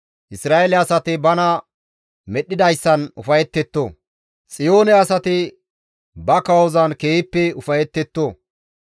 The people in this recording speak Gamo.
Isra7eele asati bana medhdhidayssan ufayettetto; Xiyoone asati ba kawozan keehippe ufayettetto.